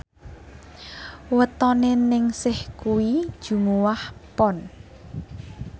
wetone Ningsih kuwi Jumuwah Pon